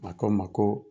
A ko n ma ko